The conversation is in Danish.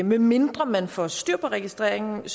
medmindre man får styr på registreringen